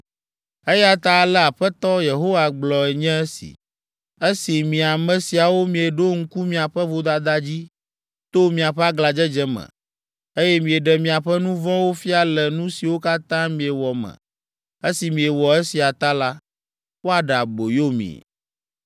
“Eya ta ale Aƒetɔ Yehowa gblɔe nye si. ‘Esi mi ame siawo mieɖo ŋku miaƒe vodada dzi to miaƒe aglãdzedze me, eye mieɖe miaƒe nu vɔ̃wo fia le nu siwo katã miewɔ me, esi miewɔ esia ta la, woaɖe aboyo mi.’